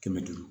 Kɛmɛ duuru